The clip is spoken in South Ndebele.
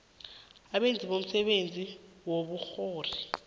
abenza umsebenzi wobukghwari